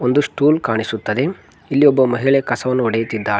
ಒಂದು ಸ್ಟೂಲ್ ಕಾಣಿಸುತ್ತದೆ ಇಲ್ಲಿ ಒಬ್ಬ ಮಹಿಳೆ ಕಸವನ್ನು ಹೊಡೆಯುತ್ತಿದ್ದಾಳೆ.